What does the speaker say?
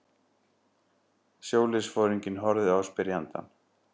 Sjóliðsforinginn horfði á spyrjandann.